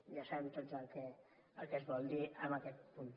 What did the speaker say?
ja sabem tots el que es vol dir amb aquest punt